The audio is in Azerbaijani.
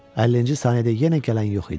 50-ci saniyədə yenə gələn yox idi.